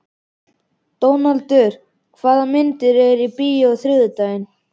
Dónaldur, hvaða myndir eru í bíó á þriðjudaginn?